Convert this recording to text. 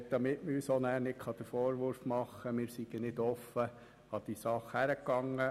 Man soll uns nicht später den Vorwurf machen können, wir seien nicht offen an diese Sache herangegangen.